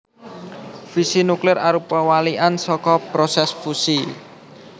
Fisi nuklir arupa walikan saka prosès fusi